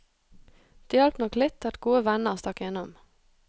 Det hjalp nok litt at gode venner stakk innom.